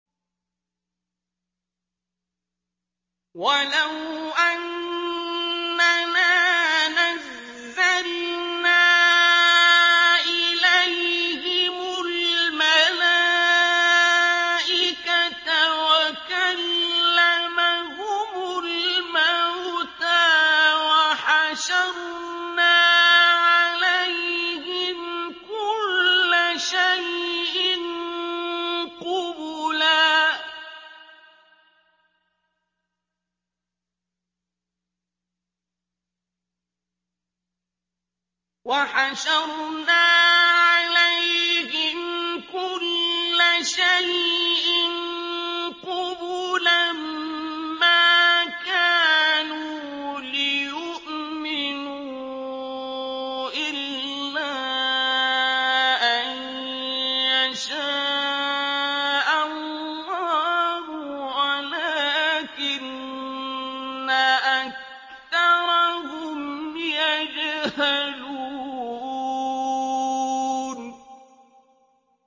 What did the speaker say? ۞ وَلَوْ أَنَّنَا نَزَّلْنَا إِلَيْهِمُ الْمَلَائِكَةَ وَكَلَّمَهُمُ الْمَوْتَىٰ وَحَشَرْنَا عَلَيْهِمْ كُلَّ شَيْءٍ قُبُلًا مَّا كَانُوا لِيُؤْمِنُوا إِلَّا أَن يَشَاءَ اللَّهُ وَلَٰكِنَّ أَكْثَرَهُمْ يَجْهَلُونَ